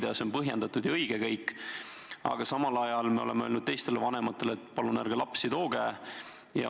See kõik on põhjendatud ja õige, aga samal ajal me oleme öelnud teistele vanematele, et palun ärge lapsi sinna tooge.